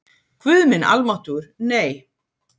Guð minn almáttugur, nei!